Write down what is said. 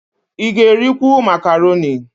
Ị ga-erikwu makaroni?